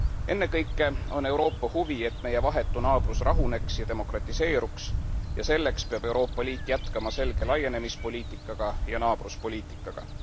Ennekõike on Euroopa huvi, et meie vahetu naabrus rahuneks ja demokratiseeruks ning selleks peab Euroopa Liit jätkama selge laienemispoliitikaga ja naabruspoliitikaga.